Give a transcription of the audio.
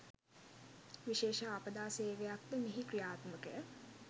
විශේෂ ආපදා සේවයක්‌ද මෙහි ක්‍රියාත්මකය